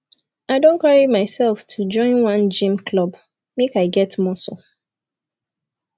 i don carry myself to join one gym club make i get muscle